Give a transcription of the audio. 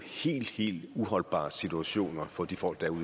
helt helt uholdbare situationer for de folk